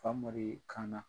Famori kan na.